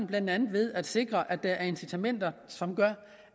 blandt andet ved at sikre at der er incitamenter som gør